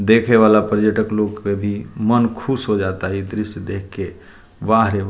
देखे वाला पर्यटक लोग के भी मन खुश हो जाअता इ दृश्य देख के वाह रे --